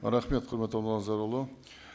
рахмет құрметті нұрлан зайролла